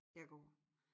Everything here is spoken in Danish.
Jeg går